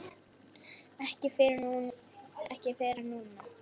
Ekki fyrr en núna.